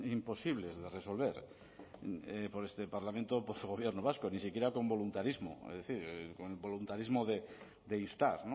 imposibles de resolver por este parlamento por su gobierno vasco ni siquiera con voluntarismo es decir con el voluntarismo de instar